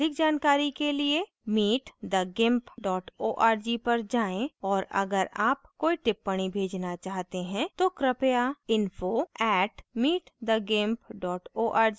अधिक जानकारी के लिए